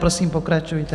Prosím, pokračujte.